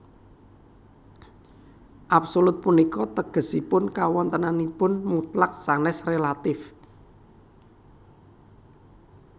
Absolut punika tegesipun kawontenannipun mutlak sanès rélatif